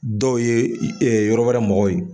Dɔw ye yɔrɔ wɛrɛ mɔgɔw ye.